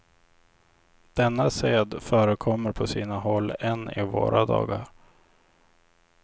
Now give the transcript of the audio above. Denna sed förekommer på sina håll än i våra dagar.